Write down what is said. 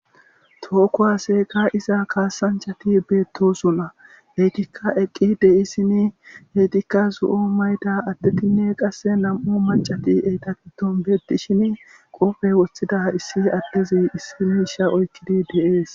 Tooko haseeka iza kaasanchati beettosunna eetikka eqqi de7issini heetikka zu7o mayda adtetinne qasse nam7u macati eyta kiton beetishin qofe woththida issi addezi issi miisha oykkidi dees.